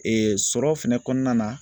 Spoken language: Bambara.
Ee sɔrɔ fɛnɛ kɔnɔna na